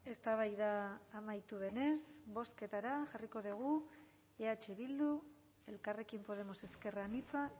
eztabaida amaitu denez bozketara jarriko dugu eh bildu elkarrekin podemos ezker anitza